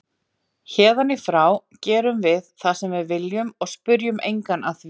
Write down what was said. Héðan í frá gerum við það sem við viljum og spyrjum engan að því.